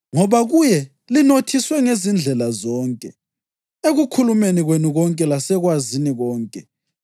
Ngoba kuye linothiswe ngezindlela zonke, ekukhulumeni kwenu konke lasekwazini konke,